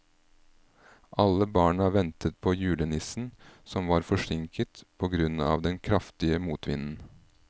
Alle barna ventet på julenissen, som var forsinket på grunn av den kraftige motvinden.